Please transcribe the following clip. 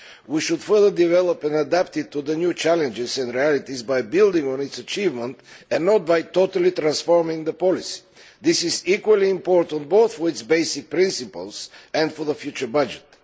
We should further develop and adapt it to the new challenges and realities by building on its achievements and not by totally transforming the policy. This is equally important both for its basic principles and for the future budget.